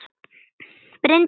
Bryndís Eva.